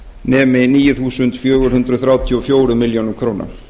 nemi níu þúsund fjögur hundruð þrjátíu og fjórar milljónir króna